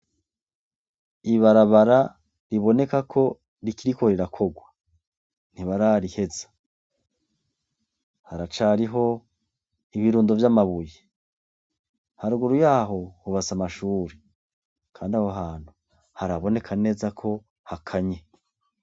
Ibarabara riboneka ko rikiriko rirakorwa. Ntibarariheza. Haracariho ibirundo vy'amabuye. Haruguru yaho, hubatse amashuri. kandi aho hantu, haraboneka neza ko hakanye.